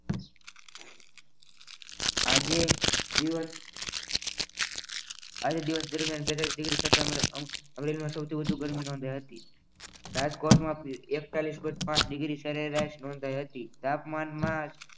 આજે દિવસ આજે દિવસ દરમિયાન અમદાવાદમાં સૌથી વધુ ગરમીનો દહી હતી રાજકોટમાં એક્તલિસ point પાચ ડિગ્રી સરેરાશનો થઈ હતી તાપમાનમાં